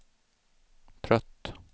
trött